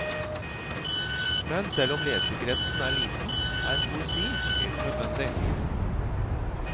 Men selv om leserkretsen er liten, er poesi helt nødvendig.